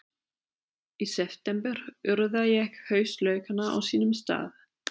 Í september urða ég haustlaukana á sínum stað.